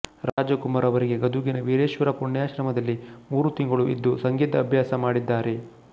ರಾಜಕುಮಾರ ಅವರಿಗೆ ಗದುಗಿನ ವೀರೇಶ್ವರ ಪುಣ್ಯಾಶ್ರಮದಲ್ಲಿ ಮೂರು ತಿಂಗಳು ಇದ್ದು ಸಂಗೀತ ಅಭ್ಯಾಸ ಮಾಡಿದ್ದಾರೆ